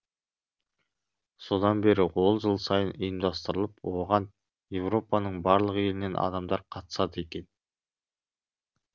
содан бері ол жыл сайын ұйымдастырылып оған еуропаның барлық елінен адамдар қатысады екен